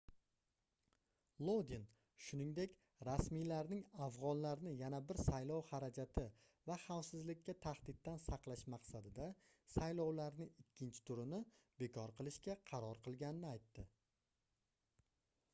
lodin shuningdek rasmiylarning afgʻonlarni yana bir saylov xarajati va xavfsizlikka tahdiddan saqlash maqsadida saylovlarning ikkinchi turini bekor qilishga qaror qilganini aytdi